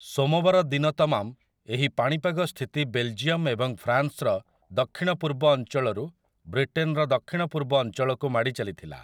ସୋମବାର ଦିନ ତମାମ ଏହି ପାଣିପାଗ ସ୍ଥିତି ବେଲ୍‌ଜିୟମ୍ ଏବଂ ଫ୍ରାନ୍ସର ଦକ୍ଷିଣପୂର୍ବ ଅଞ୍ଚଳରୁ ବ୍ରିଟେନ୍‌ର ଦକ୍ଷିଣପୂର୍ବ ଅଞ୍ଚଳକୁ ମାଡ଼ି ଚାଲିଥିଲା ।